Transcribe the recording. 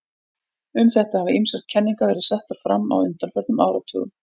Um þetta hafa ýmsar kenningar verið settar fram á undanförnum áratugum.